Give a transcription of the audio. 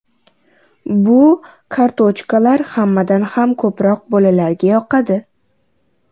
Bu kartochkalar hammadan ham ko‘proq bolalarga yoqadi.